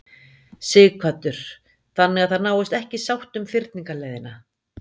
Sighvatur: Þannig að það náist ekki sátt um fyrningarleiðina?